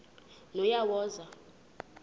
nonyawoza